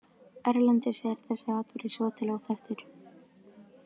Erlendis er þessi atburður svo til óþekktur.